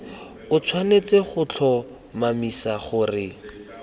o tshwanetse go tlhomamisa gore